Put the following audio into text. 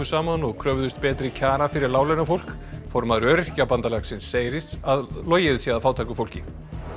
saman og kröfðust betri kjara fyrir láglaunafólk formaður Öryrkjabandalagsins segir að logið sé að fátæku fólki